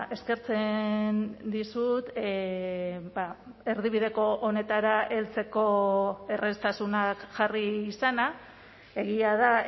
eskertzen dizut erdibideko honetara heltzeko erraztasunak jarri izana egia da